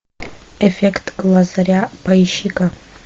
эффект лазаря поищи ка